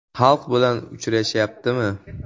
Xalq bilan uchrashyaptimi?